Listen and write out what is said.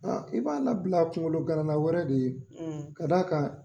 i b'a labila kungolo ganana wɛrɛ de ye, , k'a d'a kan